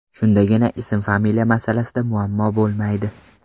Shundagina ism-familiya masalasida muammo bo‘lmaydi.